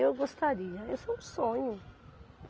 Eu gostaria, isso é um sonho.